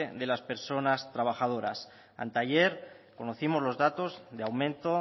de las personas trabajadoras anteayer conocimos los datos de aumento